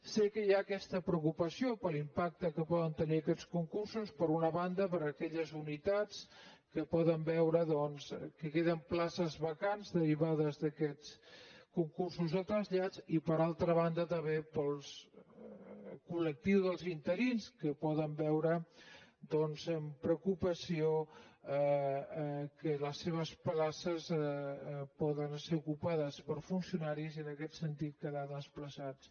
sé que hi ha aquesta preocupació per l’impacte que poden tenir aquests concursos per una banda per a aquelles unitats que poden veure doncs que queden places vacants derivades d’aquests concursos de trasllat i per altra banda també per al col·lectiu dels interins que poden veure amb preocupació que les seves places poden ser ocupades per funcionaris i en aquest sentit quedar desplaçats